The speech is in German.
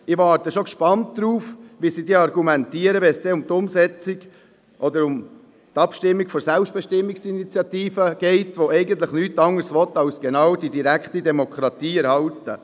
Ich warte gespannt darauf, wie diese Seite argumentiert, wenn es um die Abstimmung über die «Selbstbestimmungsinitiative» geht, die eigentlich nichts anderes will, als die direkte Demokratie zu erhalten.